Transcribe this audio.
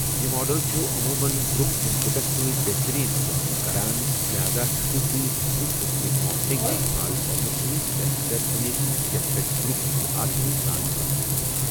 یہِ ماڈل چھُ عموٗمَن گروپ ان پٹَس سۭتۍ بہتریٖن کٲم کران، لہذا ہٮ۪کِو تُہۍ یِتھۍ قٕسمٕکی ماڈلنگ استعمال کرنہٕ سۭتۍ بہتر بٔنِتھ یَتھ پٮ۪ٹھ گروپ ہٮ۪کہِ آسٲنی سان کٲم کٔرِتھ۔